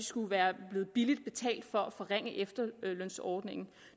skulle være blevet billigt betalt for at forringe efterlønsordningen